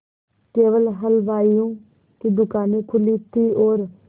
केवल हलवाइयों की दूकानें खुली थी और